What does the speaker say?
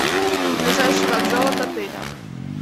ближайший вокзал от отеля